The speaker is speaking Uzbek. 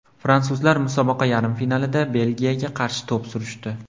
Fransuzlar musobaqa yarim finalida Belgiyaga qarshi to‘p surishdi.